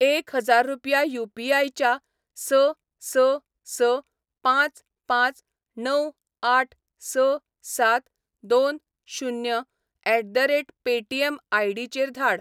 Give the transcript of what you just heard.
एक हजार रुपया यू.पी.आय. च्या स स स पांच पांच णव आठ स सात दोन शुन्य at the rate Paytm ID. चेर धाड